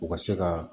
U ka se ka